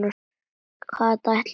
Kata ætlaði ekki í skóla.